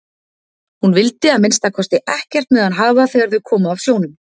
Hún vildi að minnsta kosti ekkert með hann hafa þegar þau komu af sjónum.